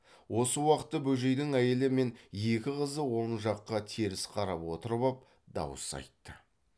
осы уақытта бөжейдің әйелі мен екі қызы он жаққа теріс қарап отырып ап дауыс айтты